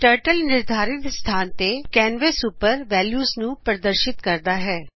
turtle ਨਿਰਧਾਰਿਤ ਸਥਾਨ ਤੇ ਕੈਨਵਸ ਉੱਪਰ ਵੈਲਿਉਆਂ ਨੂੰ ਪ੍ਰਦਰਸ਼ਿਤ ਕਰਦਾ ਹੈ